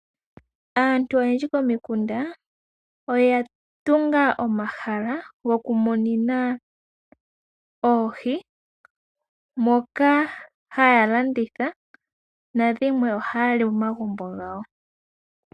Aantu oyendji pomikunda oya tunga omahala goku munina oohi, moka haya landitha, nadhimwe oha ya li momagumbo gawo.